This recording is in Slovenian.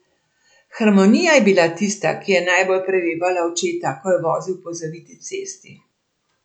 Harmonija je bila tista, ki je najbolj prevevala očeta, ko je vozil po zaviti cesti.